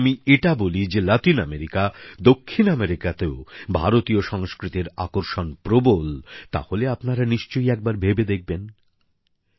কিন্তু যদি আমি এটা বলি যে লাতিন আমেরিকা দক্ষিণ আমেরিকাতেও ভারতীয় সংস্কৃতির আকর্ষণ প্রবল তাহলে আপনারা নিশ্চয়ই একবার ভেবে দেখবেন